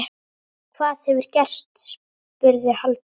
Hvað hefur gerst? spurði Halldór.